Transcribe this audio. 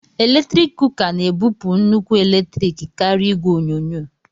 eletrik kuka na-ebupụ nnukwu eletrik karịa igwe onyonyo